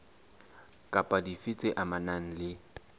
kapa dife tse amanang le